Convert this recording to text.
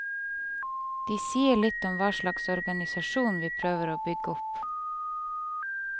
De sier litt om hva slags organisasjon vi prøver å bygge opp.